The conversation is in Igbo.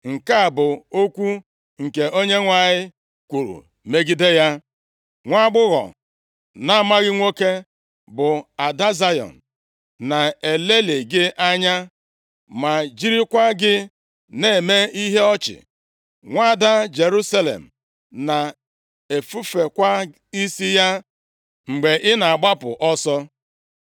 Nke a bụ okwu nke Onyenwe anyị kwuru megide ya: “ ‘Nwaagbọghọ na-amaghị nwoke, bụ Ada Zayọn na-elelị gị anya, ma jirikwa gị na-eme ihe ọchị. Nwaada Jerusalem na-efufekwa isi ya mgbe ị na-agbapụ ọsọ